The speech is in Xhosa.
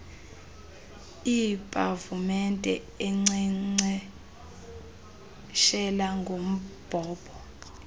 iipavumente enkcenkceshela ngombhobho